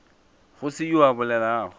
go se yoo a bolelago